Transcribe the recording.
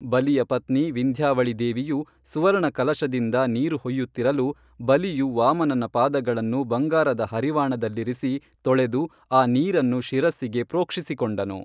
ಬಲಿಯ ಪತ್ನಿ ವಿಂಧ್ಯಾವಳಿದೇವಿಯು ಸುವರ್ಣ ಕಲಶದಿಂದ ನೀರು ಹೊಯ್ಯತ್ತಿರಲು ಬಲಿಯು ವಾಮನನ ಪಾದಗಳನ್ನು ಬಂಗಾರದ ಹರಿವಾಣದಲ್ಲಿರಿಸಿ ತೊಳೆದು ಆ ನೀರನ್ನು ಶಿರಸ್ಸಿಗೆ ಪ್ರೋಕ್ಷಿಸಿ ಕೊಂಡನು